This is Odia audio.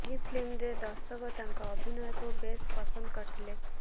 ଏହି ଫିଲ୍ମରେ ଦର୍ଶକ ତାଙ୍କ ଅଭିନୟକୁ ବେଶ୍ ପସନ୍ଦ କରିଥିଲେ